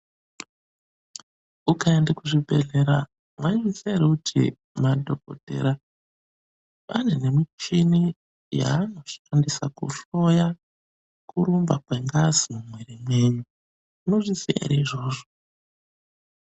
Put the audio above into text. Ukaenda kuzvibhedhlera maizviziwa ere kuti madhogodhera ane nemichini yaanoshandisa kuhloya kurumba kwengazi mumwiri mwenyu. Munozviziwa ere izvozvo?